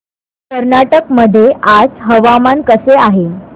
कर्नाटक मध्ये आज हवामान कसे आहे